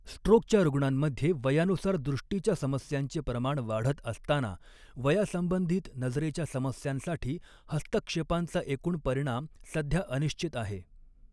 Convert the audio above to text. स्ट्रोकच्या रूग्णांमध्ये वयानुसार दृष्टीच्या समस्यांचे प्रमाण वाढत असताना, वयासंबंधित नजरेच्या समस्यांसाठी हस्तक्षेपांचा एकूण परिणाम सध्या अनिश्चित आहे.